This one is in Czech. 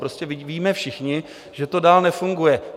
Prostě vidíme všichni, že to dál nefunguje.